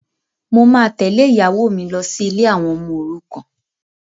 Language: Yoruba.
Mo máa tẹ́lẹ̀ ìyàwó mi lọ sí ilé àwọn ọmọ òrukàn